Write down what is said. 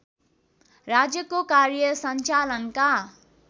राज्यको कार्य सञ्चालनका